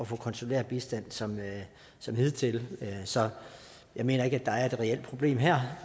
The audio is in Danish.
få konsulær bistand som som hidtil så jeg mener ikke der er et reelt problem her